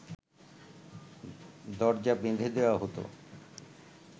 দরজা বেঁধে দেওয়া হতো